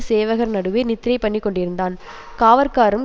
சேவகர் நடுவே நித்திரைபண்ணிக்கொண்டிருந்தான் காவற்காரரும்